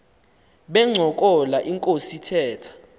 bencokola inkos ithetha